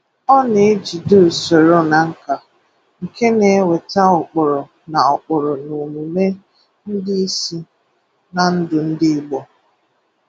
Ọ na-ejide ụsoro na nkà, nke na-eweta ụkpụrụ na ụkpụrụ na omụmé ndị ịsị, na ndụ ndị igbo.